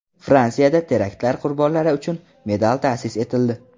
Fransiyada teraktlar qurbonlari uchun medal ta’sis etildi.